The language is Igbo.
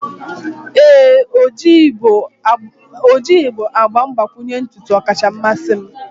ee, ojii bụ agba mgbakwunye ntutu ọkacha mmasị m.